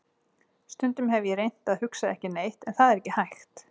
Stundum hef ég reynt að hugsa ekki neitt en það er ekki hægt.